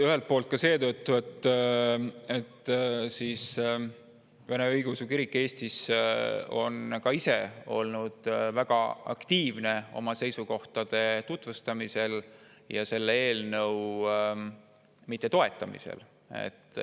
Ühelt poolt seetõttu, et vene õigeusu kirik Eestis on ka ise olnud väga aktiivne oma seisukohtade tutvustamisel ja selle eelnõu mittetoetamisel.